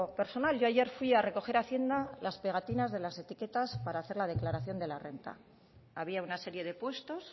personal yo ayer fui a recoger a hacienda las pegatinas de las etiquetas para hacer la declaración de la renta había una serie de puestos